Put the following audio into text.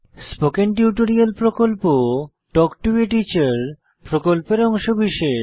spoken tutorial প্রকল্প talk to a teacher প্রকল্পের অংশবিশেষ